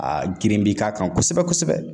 A girin bi k'a kan kosɛbɛ kosɛbɛ.